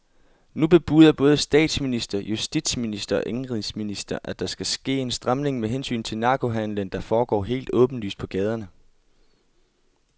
Nu bebuder både statsminister, justitsminister og indenrigsminister, at der skal ske en stramning med hensyn til narkohandelen, der foregår helt åbenlyst på gaderne.